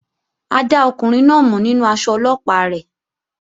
A dá ọkùnrin náà mọ̀ nínú aṣọ Ọlọ́pàá rẹ̀